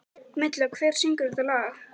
Milla, hver syngur þetta lag?